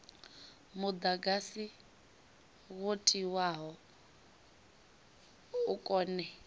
mudagasi wo tiwaho u kone